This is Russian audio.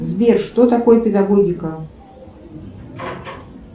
сбер что такое педагогика